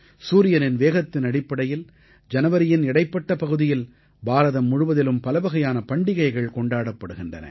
சூரியனின் வேகத்தின் அடிப்படையில் ஜனவரியின் இடைப்பட்ட பகுதியில் பாரதம் முழுவதிலும் பலவகையான பண்டிகைகள் கொண்டாடப்படுகின்றன